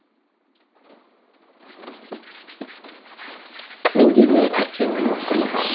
менде не әкеңнің құны бар